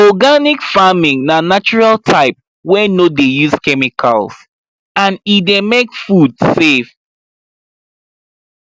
organic farming na natural type wey no dey use chemicals and e dey make food safe